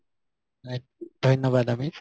হয় ধন্যবাদ আমিৰ